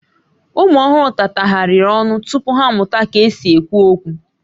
Ụmụ ọhụrụ tatagharịrị ọnụ tupu ha amụta ka e si ekwu okwu